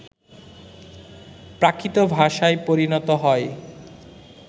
প্রাকৃত ভাষায় পরিণত হয়